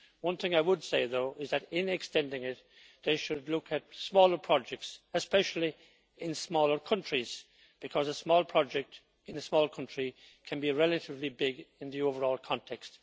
One thing I would say, though, is that in extending it they should look at smaller projects, especially in smaller countries, because a small project in a small country can be relatively big in the overall context.